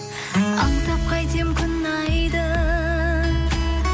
аңсап қайтем күн айды